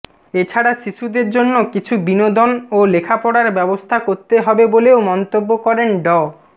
এছাড়া শিশুদের জন্য কিছু বিনোদন ও লেখাপড়ার ব্যবস্থা করতে হবে বলেও মন্তব্য করেন ড